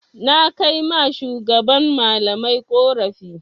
Na kai ma shugaban malamai ƙorafi.